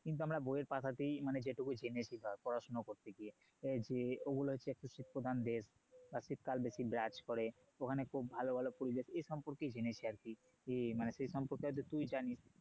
কিন্তু আমরা বই এর পাতাতে মানে যেটুকু জেনেছি ধর পড়াশোনা করতে গিয়ে যে ওগুলো হচ্ছে একটা শীত প্রধান দেশ বা শীত কাল বেশি বিরাজ করে ওখানে খুব ভালো ভালো . এই সম্পর্কেই জেনেছি আর কি মানে সে সম্পর্কে হয়তো তুই জানিস